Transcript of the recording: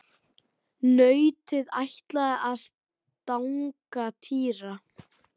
Nautið ætlaði að stanga Týra.